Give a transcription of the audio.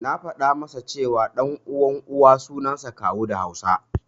Na faɗa masa ce, ɗan uwan Uwa suansa Kawu da Hausa.